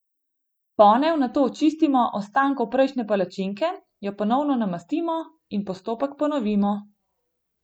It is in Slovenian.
Ponev nato očistimo ostankov prejšnje palačinke, jo ponovno namastimo in postopek ponovimo.